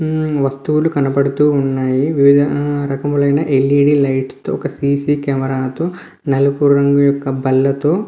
ఈ వస్తువులు కనపడుతున్నాయి వివిధ రకములైన ఎల్ యీ డి లైట్స్ తో ఒక సీసీ కెమెరా తో నలుపు రంగు ఒక బల్ల తో --